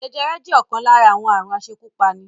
Jẹjẹrẹ jẹ́ ọ̀kan lára àwọn aàrùn asekúpani